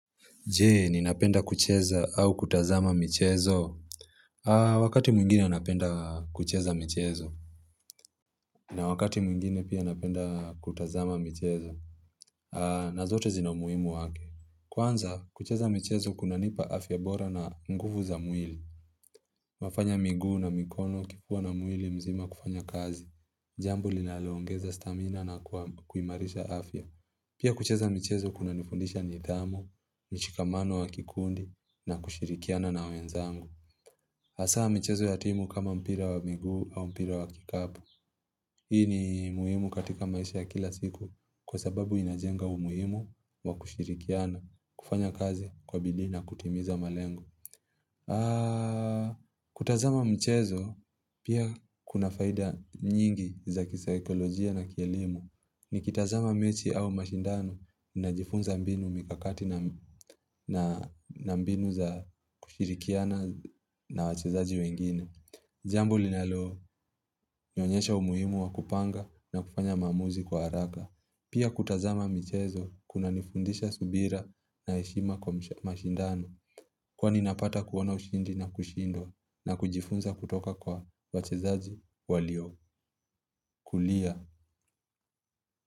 Je, ninapenda kucheza au kutazama michezo? Wakati mwingine napenda kucheza michezo. Na wakati mwingine pia napenda kutazama michezo. Na zote zina umuhimu wake. Kwanza, kucheza michezo kunanipa afya bora na nguvu za mwili. Inafanya miguu na mikono ikiwa na mwili mzima kufanya kazi. Jambo linaloongeza stamina na kuimarisha afya. Pia kucheza michezo kunanifundisha nidhamu, mshikamano wa kikundi na kushirikiana na wenzangu. Hasa michezo ya timu kama mpira wa miguu au mpira wa kikapu. Hii ni muhimu katika maisha ya kila siku kwa sababu inajenga umuhimu wa kushirikiana, kufanya kazi kwa bidii na kutimiza malengo. Kutazama mchezo pia kuna faida nyingi za kisaikolojia na kielimu. Nikitazama mechi au mashindano najifunza mbinu, mikakati na mbinu za kushirikiana na wachezaji wengine. Jambo linalonionyesha umuhimu wa kupanga na kufanya maamuzi kwa haraka. Pia kutazama michezo kunanifundisha subira na heshima kwa mashindano. Huwa ninapata kuona ushindi na kushindwa na kujifunza kutoka kwa wachezaji walio kulia.